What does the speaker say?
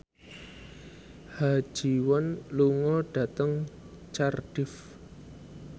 Ha Ji Won lunga dhateng Cardiff